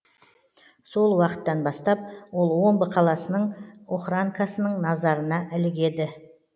сол уақыттан бастап ол омбы қаласының охранкасының назарына ілігеді